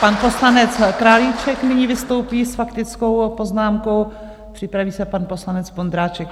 Pan poslanec Králíček nyní vystoupí s faktickou poznámkou, připraví se pan poslanec Vondráček.